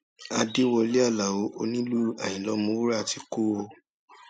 àdẹwọlẹ aláọ onílù àyìnlá ọmọwúrà ti kú o